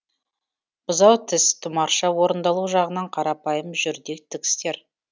бұзау тіс тұмарша орындалу жағынан қарапайым жүрдек тігістер